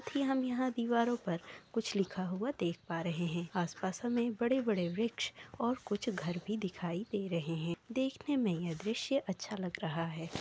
की हम यहाँ दीवारों पर कुछ लिखा हुआ देख पा रहें हैं। आसपास हमें बड़े-बड़े वृक्ष और कुछ घर भी दिखाई दे रहें हैं। देखने में यह दृश्य अच्छा लग रहा है।